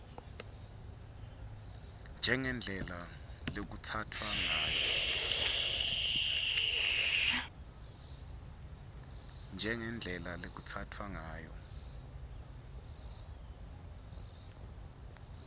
njengendlela lekutsatfwa ngayo